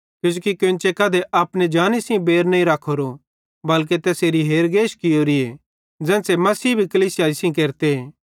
किजोकि कोन्चे कधी अपने जानी सेइं बैर नईं रखोरो बल्के तैसेरी हेरगेश कियोरीए ज़ेन्च़रे मसीहे भी कलीसियाई सेइं केरते